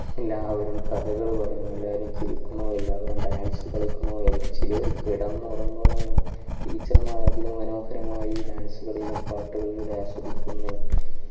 എല്ലാവരും കഥകള് പറയുന്നു എല്ലാവരും ചിരിക്കുന്നു എല്ലാവരും dance കളിക്കുന്നു ചിലവർ കിടന്നുറങ്ങുന്നു teacher മാർ അതിമനോഹരമായി dance കളിയിലും പാട്ടുകളിലുടെ ആസ്വദിക്കുന്നു